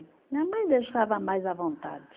Minha mãe deixava mais à vontade.